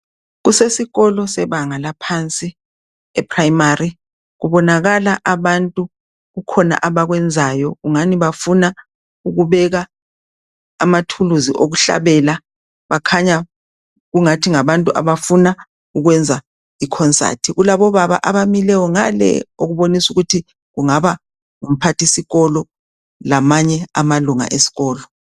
kusesikolo sebanga laphansi e primary kubonakala abantu kukhona abakwenzayo kungani bafuna ukubeka amathuluzi okuhlabela bakhanya engathi ngabantu abafuna ukwenza i concert kulabo baba abamileyo ngale okubonisa ukuthi kungaba ngumphathisikolo lamanye amalunga esikolo